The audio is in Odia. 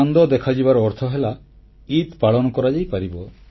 ଚାନ୍ଦ ଦେଖାଯିବାର ଅର୍ଥ ହେଲା ଇଦ୍ ପାଳନ କରାଯାଇପାରିବ